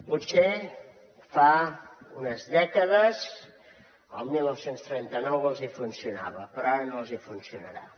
potser fa unes dècades el dinou trenta nou els hi funcionava però ara no els hi funcionarà